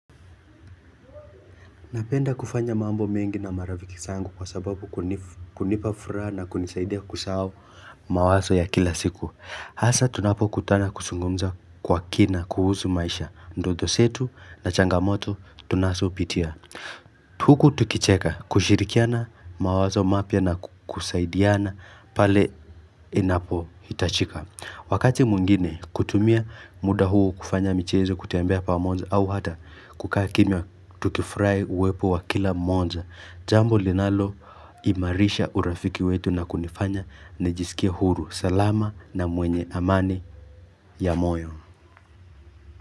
Napenda kufanya mambo mengi na marafiki zangu kwa sababu kunipa furaha na kunisaidia kusahau mawazo ya kila siku. Hasa tunapo kutana kusungumza kwa kina kuhuzu maisha. Mdoto setu na changamoto tunasopitia. Huku tukicheka kushirikiana mawazo mapya na kusaidiana pale inapo hitachika. Wakati mwingine kutumia muda huo kufanya michezo kutembea pamoja au hata kukakimya tukifurai uwepo wa kila mmoja. Jambo linalo imarisha urafiki wetu na kunifanya nijisikie huru. Salama na mwenye amani ya moyo.